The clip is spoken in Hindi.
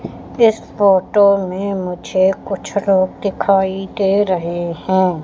इस फोटो में मुझे कुछ रोड दिखाई दे रहे हैं।